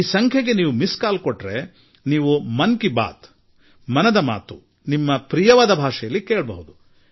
ಈ 1922ಕ್ಕೆ ನೀವು ಮಿಸ್ಡ್ ಕಾಲ್ ನೀಡಿದರೆ ನೀವು ನಿಮ್ಮ ಆಯ್ಕೆಯ ಭಾಷೆಯಲ್ಲೇ ಮನ್ ಕಿ ಬಾತ್ ಅಂದರೆ ಮನದ ಮಾತು ಕೇಳಬಹುದು